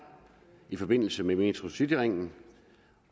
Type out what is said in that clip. i forbindelse med metrocityringen